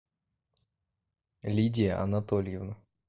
лидия анатольевна